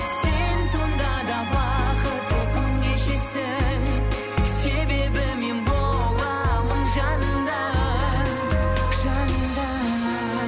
сен сонда да бақытты күн кешесің себебі мен боламын жаныңда